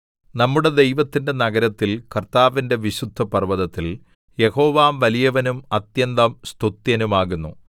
നമ്മുടെ ദൈവത്തിന്റെ നഗരത്തിൽ കർത്താവിന്റെ വിശുദ്ധപർവ്വതത്തിൽ യഹോവ വലിയവനും അത്യന്തം സ്തുത്യനും ആകുന്നു